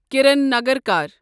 Kiran Nagarkar